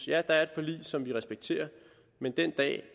ja der er et forlig som vi respekterer men den dag